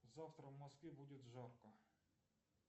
завтра в москве будет жарко